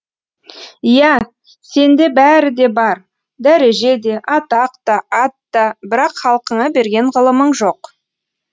иә сенде бәрі де бар дәреже де атақ та ат та бірақ халқыңа берген ғылымың жоқ